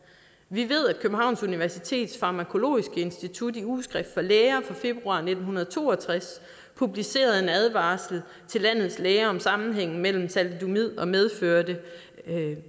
vi ved at københavns universitets farmakologiske institut i ugeskrift for læger i februar nitten to og tres publicerede en advarsel til landets læger om sammenhængen mellem thalidomid og medfødte